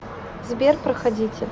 сбер проходите